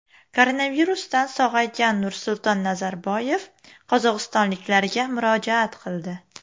Koronavirusdan sog‘aygan Nursulton Nazarboyev qozog‘istonliklarga murojaat qildi.